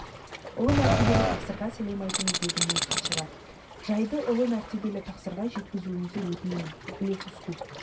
ұлы мәртебелі тақсырға сәлем айтыңыз дедім мен хатшыға сы жайды ұлы мәртебелі тақсырға жеткізуіңізді өтінем блефуску